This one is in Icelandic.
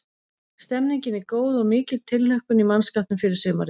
Stemmningin er góð og mikil tilhlökkun í mannskapnum fyrir sumarið.